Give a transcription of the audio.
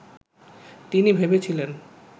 তিনি ভেবেছিলেন